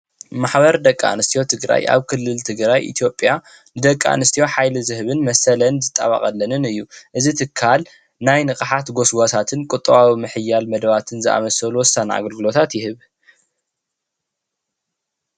ማሕበር ደቂ ኣንስትዮ ትግራይ ኣብ ክልል ትግራይ ኢትዮጲያ ንደቂ ኣንስትዮ ሓይሊ ዝህብን መሰለን ዝጣበቀለን እዩ። እዚ ትካል ናይ ንቅሓት ጎስጓሳትን ቁጠባዊ ምሕያልን መደባትን ዝኣምሰሉ ወሳኒ አገልግሎት ይህብ።